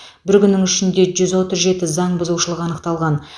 бір күннің ішінде жүз отыз жеті заңбұзушылық анықталған